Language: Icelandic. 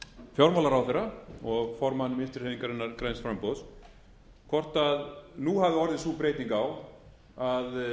fjármálaráðherra og formann vinstri hreyfingarinnar græns framboðs hvort hún hafi orðið sú breyting á að